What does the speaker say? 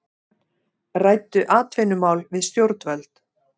Ræddu atvinnumál við stjórnvöld